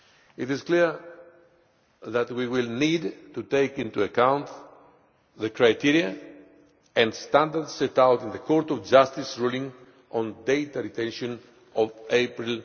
It is clear that we will need to take into account the criteria and standards set out in the Court of Justice ruling on data retention of April